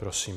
Prosím.